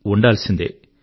ఉండాల్సిందే